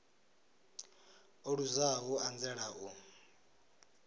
o luzaho u anzela u